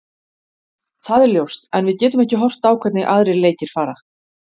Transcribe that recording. Það er ljóst en við getum ekki horft á hvernig aðrir leikir fara.